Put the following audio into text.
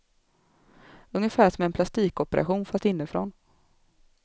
Ungefär som en plastikoperation fast inifrån.